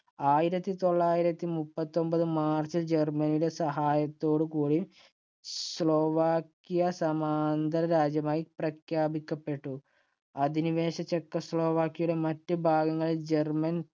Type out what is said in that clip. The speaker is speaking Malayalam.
ആയിരത്തി തൊള്ളായിരത്തി മുപ്പത്തിയൊമ്പത് march ഇല്‍ ജർമ്മനിയുടെ സഹായത്തോടുകൂടി സ്ലൊവാക്യ സമാന്തർരാജ്യമായി പ്രഖ്യാപിക്കപ്പെട്ടു. അധിനിവേശ ചെക്കോസ്ലാവാക്യയുടെ മറ്റ് ഭാഗങ്ങൾ ജർമ്മൻ